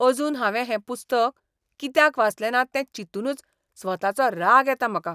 अजून हांवें हें पुस्तक कित्याक वाचलें ना तें चिंतूनुच स्वताचो राग येता म्हाका.